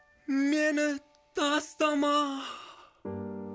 мені тастама